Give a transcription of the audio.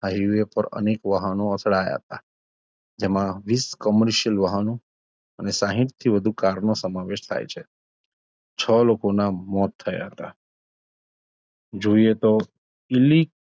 highway પર અનેક વાહનો અથડાયા હતાં જેમાં વિશ commercial વાહનો અને સાહીઠથી વધુ car નો સમાવેશ થાય છે છો લોકોનાં મોત થયા હતાં જોઈએ તો